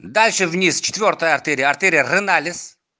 дальше вниз четвёртая артерия артерия реналис